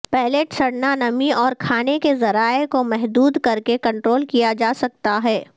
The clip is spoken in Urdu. پیلیٹ سڑنا نمی اور کھانے کے ذرائع کو محدود کرکے کنٹرول کیا جا سکتا ہے